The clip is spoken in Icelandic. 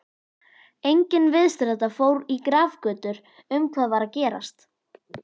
Enginn viðstaddra fór í grafgötur um hvað var að gerast.